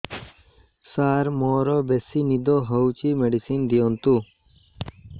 ସାର ମୋରୋ ବେସି ନିଦ ହଉଚି ମେଡିସିନ ଦିଅନ୍ତୁ